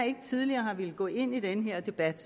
ikke tidligere har villet gå ind i den her debat